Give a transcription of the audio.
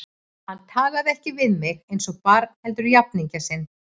Hann talaði ekki við mig eins og barn heldur jafningja sinn.